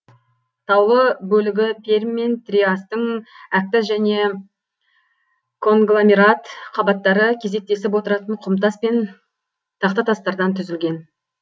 таулы бөлігі пермь мен триастың әктас және конгломерат қабаттары кезектесіп отыратын құмтас пен тақтатастардан түзілген